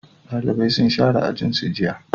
dalibai sun share ajin su jiya